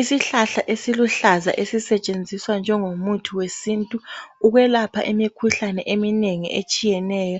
Isihlahla esiluhlaza ezisetshenziswa njengomuthi wesintu ukwelapha imikhuhlane eminengi etshiyeneyo